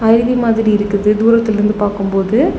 அருவி மாதிரி இருக்குது தூரத்துல இருந்து பாக்கும்போது.